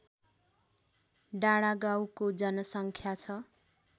डाँडागाउँको जनसङ्ख्या छ